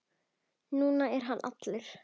Nú er hann allur.